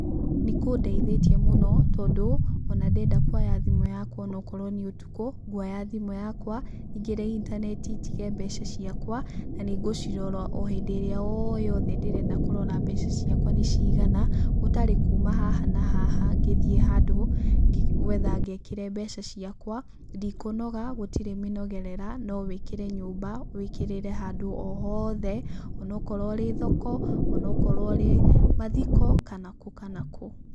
Nĩkũndeithĩtie mũno, tondũ, ona ndenda kuoya thimũ yakwa o nakrowo nĩ ũtukũ, nguoya thimũ yakwa, nyingĩre intaneti njige mbeca ciakwa, na nĩ ngũcirora o hĩndĩ ĩrĩa yothe ndenda kũrora mbeca ciakwa nĩ cigana, gũtarĩ kuma haha na haha ngĩthiĩ handũ, gwetha ngekĩre mbeca ciakwa. Ndikũnoga, gũtirĩ mĩnogerera, no wĩkĩre nyũmba, wĩkĩrĩre handũ o hothe, o na okorwo ũrĩ thoko, o na okorwo ũrĩ mathiko, kana kũ kana kũ.